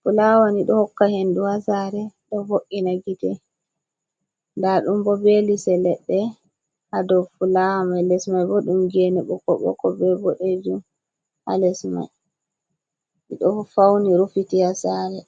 Fulawa ni do hokka hendu ha sare, ɗo vo'ina gite, nda dum bo be lise ledde hado fulawa mai, les mai bo ɗum gene ɓokko ɓokko, be bodejum, ha les mai ido fauni rufiti ha sare.